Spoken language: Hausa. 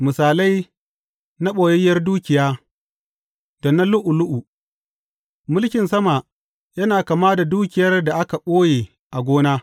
Misalai na ɓoyayyiyar dukiya da na lu’ulu’u Mulkin sama yana kama da dukiyar da aka ɓoye a gona.